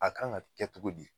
A kan ga kɛ togo di